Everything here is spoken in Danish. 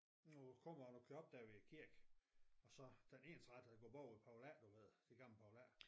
Når du kommer og du kører op der ved kirken og så den ensrettede går bag ved Poul A du ved det gamle Poul A